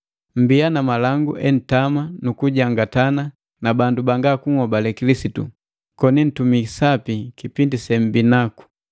Mmbiya na malangu entama nukujangatana na bandu banga kunhobale Kilisitu, koni ntumii sapi kipindi sembii naku.